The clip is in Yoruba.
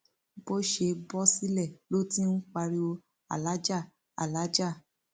bó ṣe bọ sílẹ ló ti ń pariwo aláàjà alàájá